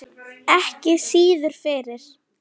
Ekki síður fyrir